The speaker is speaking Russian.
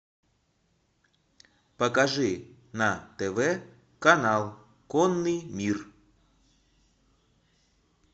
покажи на тв канал конный мир